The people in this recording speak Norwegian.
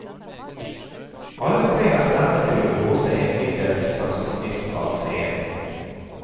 Alle tre har stemme til å blåse en middels saksofonist av scenen.